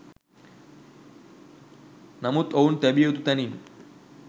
නමුත් ඔවුන් තැබිය යුතු තැනින්